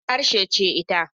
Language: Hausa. Hausa harshe ce ita.